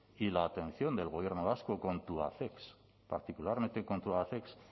y la atención del gobierno vasco con tubacex particularmente con tubacex